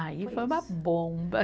Aí foi uma bomba.